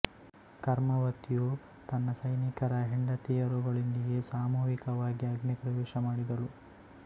ಕರ್ಮವತಿಯು ತನ್ನ ಸೈನಿಕರ ಹೆಂಡತಿಯರುಗಳೊಂದಿಗೆ ಸಾಮೂಹಿಕವಾಗಿ ಅಗ್ನಿ ಪ್ರವೇಶ ಮಾಡಿದಳು